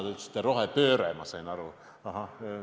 Te ütlesite vist "rohepööre", ma sain nii aru.